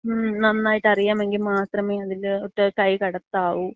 മ്മ്. നന്നായിട്ടറിയാമെങ്കി മാത്രമേ അതിലോട്ട് കൈകടത്താവൂ.